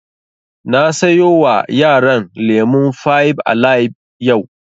Na sayo wa yaran lemun fibe alibe yau